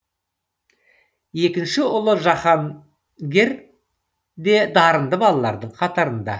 екінші ұлы жаһаргер де дарынды балалардың қатарында